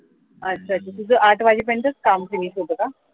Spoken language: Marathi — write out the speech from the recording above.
अच्छा तर तुझ आठ वाजेपर्यंतच काम finish होतं का?